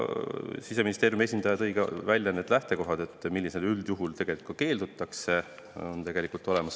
Siseministeeriumi esindaja tõi ka välja lähtekohad, millisel juhul üldjuhul keeldutakse.